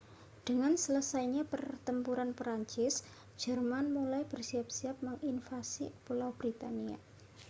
dengan selesainya pertempuran prancis jerman mulai bersiap-siap menginvasi pulau britania